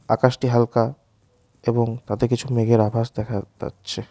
আকাশটি হালকা এবং তাতে কিছু মেঘের আভাস দেখা তাচ্ছে ।